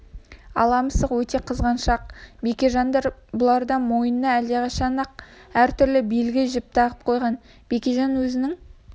ала мысық өте қызғаншақ бекежандар бұлардың мойнына әлдеқашан-ақ әр түрлі белгі жіп тағып қойған бекежан өзінің